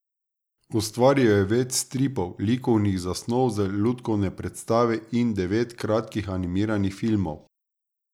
Ustvaril je več stripov, likovnih zasnov za lutkovne predstave in devet kratkih animiranih filmov.